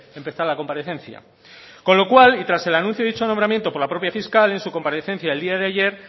empezar la comparecencia con lo cual y tras el anuncio de dicho nombramiento por la propia fiscal en su comparecencia en día de ayer